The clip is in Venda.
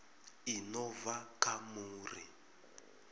i no bva kha muri